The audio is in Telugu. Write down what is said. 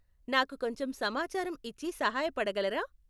నాకు కొంచెం సమాచారం ఇచ్చి సహాయపడగలరా?